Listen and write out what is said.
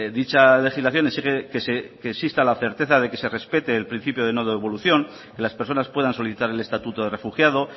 dicha legislación exige que exista la certeza de que se respete el principio de no devolución las personas puedan solicitar el estatuto de refugiado